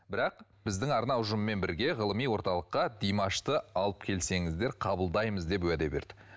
бірақ біздің арна ұжымымен бірге ғылыми орталыққа димашты алып келсеңіздер қабылдаймыз деп уәде берді